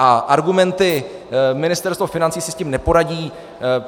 A argumenty: Ministerstvo financí si s tím neporadí...